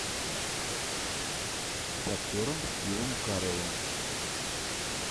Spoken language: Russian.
с актером стивом кареллом